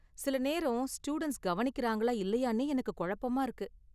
சில நேரம், ஸ்டூடண்ட்ஸ் கவனிக்கறாங்களா இல்லையானே எனக்கு கொழப்பமா இருக்கு.